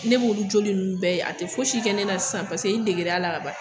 Ne b'olu joli ninnu bɛɛ ye a tɛ foyi si kɛ ne na sisan paseke i degir'a la ka ban.